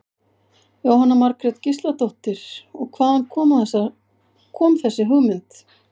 Jóhanna Margrét Gísladóttir: Og hvaðan kom þessi hugmynd?